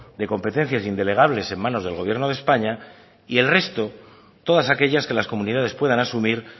de competencias indelegables en manos del gobierno de españa y el resto todas aquellas que las comunidades puedan asumir